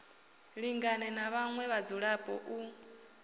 lingane na vhaṋwe vhadzulapo u